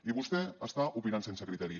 i vostè està opinant sense criteri